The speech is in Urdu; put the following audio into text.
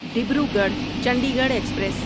ڈبروگڑھ چنڈیگڑھ ایکسپریس